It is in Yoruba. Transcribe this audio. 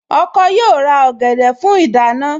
Ọkọ yóò ra ọ̀gẹ̀dẹ̀ fún ìdáná